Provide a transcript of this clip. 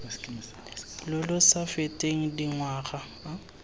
lo lo sa feteng dingwaga